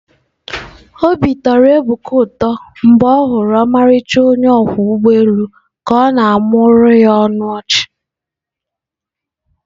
Obi tọrọ Ebuka ụtọ mgbe ọ hụrụ ọmarịcha onye ọkwọ ụgbọ elu ka ọ na-amụmụọrọ ya ọnụ ọchị.